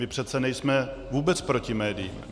My přece nejsme vůbec proti médiím.